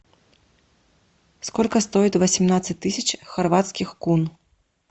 сколько стоит восемнадцать тысяч хорватских кун